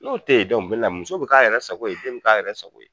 N'o te yen muso bi k'a yɛrɛ sago ye, den mi k'a yɛrɛ sago ye.